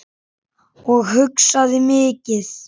Og hugsaði mikið.